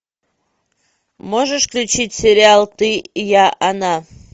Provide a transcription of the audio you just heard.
можешь включить сериал ты я она